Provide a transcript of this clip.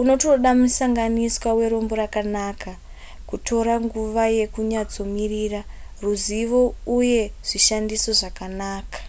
unotoda musanganiswa werombo rakanaka kutora nguva yekunyatsomirira ruzivo uye zvishandiso zvakanaka